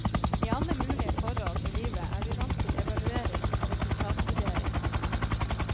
I alle mulige forhold i livet er vi vant til evaluering og resultatvurdering.